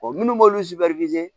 minnu b'olu